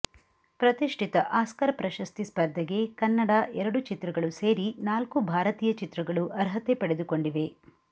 ಪ್ರತಿಷ್ಠಿತ ಆಸ್ಕರ್ ಪ್ರಶಸ್ತಿ ಸ್ಪರ್ಧೆಗೆ ಕನ್ನಡ ಎರಡು ಚಿತ್ರಗಳು ಸೇರಿ ನಾಲ್ಕು ಭಾರತೀಯ ಚಿತ್ರಗಳು ಅರ್ಹತೆ ಪಡೆದುಕೊಂಡಿವೆ